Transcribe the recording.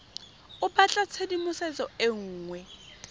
o batla tshedimosetso e nngwe